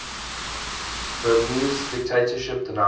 burmese dictatorship denied